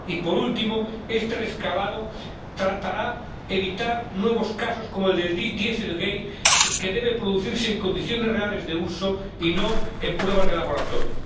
Y, por último, este reajuste tratará de evitar nuevos casos como el del dieselgate, que debe producirse en condiciones reales de uso y no en pruebas de laboratorio.